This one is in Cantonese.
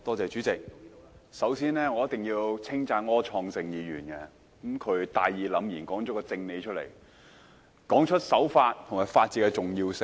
主席，我首先一定要稱讚柯創盛議員，他大義凜然地說了一個正理，他指出守法和法治的重要性。